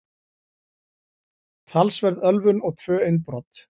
Talsverð ölvun og tvö innbrot